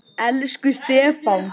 Elsku Stefán.